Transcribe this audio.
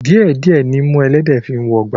Díẹ̀ díẹ̀ nimú ẹlẹ́dẹ̀ẹ́ fi ń wọgbà